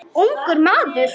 Ungur maður.